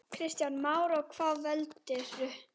Kristján Már: Og hvað veldur?